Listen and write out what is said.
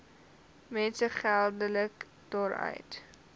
mense geldelik daaruit